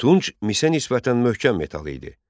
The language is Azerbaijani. Tunç misə nisbətən möhkəm metal idi.